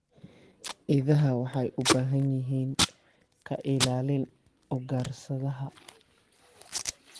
Idaha waxay u baahan yihiin ka ilaalin ugaarsadaha.